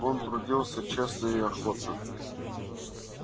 он трудился честно и охотно